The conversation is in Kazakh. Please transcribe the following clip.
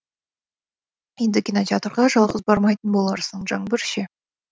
енді кинотеатрға жалғыз бармайтын боларсың жаңбыр ше